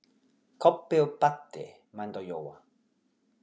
Kobbi og Baddi mændu á Jóa.